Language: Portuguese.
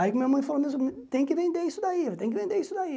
Aí minha mãe falou, tem que vender isso daí, tem que vender isso daí.